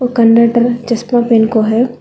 Conductor चश्मा पहन को है।